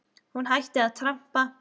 Hún hætti að trampa.